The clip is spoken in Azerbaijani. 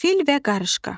Fil və qarışqa.